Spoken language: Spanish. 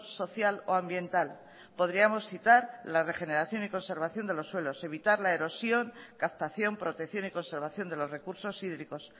social o ambiental podríamos citar la regeneración y conservación de los suelos evitar la erosión captación protección y conservación de los recursos hídricos